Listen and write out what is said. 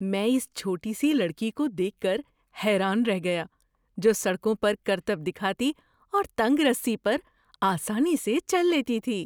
میں اس چھوٹی سی لڑکی کو دیکھ کر حیران رہ گیا جو سڑکوں پر کرتب دکھاتی اور تنگ رسی پر آسانی سے چل لیتی تھی۔